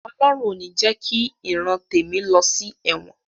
Ọlọhun ò ní jẹ ki ìran tèmi lọ sí ẹ̀wọ̀n